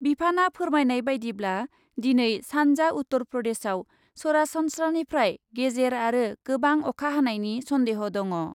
बिफानआ फोरमायनाय बायदिब्ला , दिनै सान्जा उत्तर प्रदेशयाव सरासनस्रानिफ्राय गेजेर आरो गोबां अखा हानायनि सन्देह' दङ' ।